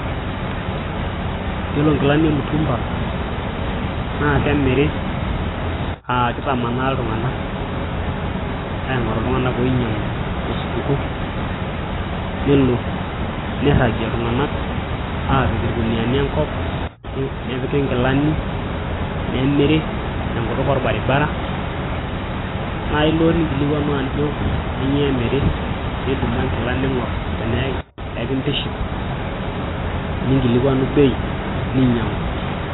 Yiolo inkilani emutumba naa kemiri aaa kitamanaa iltung'anak aing'oru iltung'anak oinyiang'u tosupuko nelo neiragie iltung'anak aapik irkuniani enkop nepiki inkilani nemiri tenkutuk orbaribara naa ilo ningilikuanu ajo kanyioo emiri nidumu enkila ning'or tenaa enkitiship ningilikuanu bei ninyiang'u.